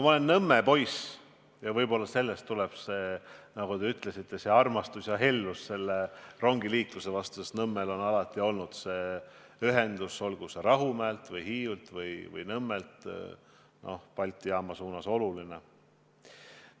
Ma olen Nõmme poiss ja võib-olla sellest tuleb ka see, nagu te ütlesite, armastus ja hellus rongiliikluse vastu, sest Nõmmel on alati see ühendus – olgu siis Rahumäelt, Hiiult või Nõmmelt Balti jaama suunas – oluline olnud.